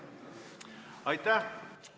Aitäh!